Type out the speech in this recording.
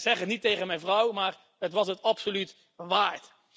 Zeg het niet tegen mijn vrouw, maar het was het absoluut waard.